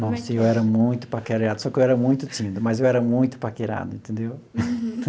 Nossa, eu era muito paquerado, só que eu era muito tímido, mas eu era muito paquerado, entendeu?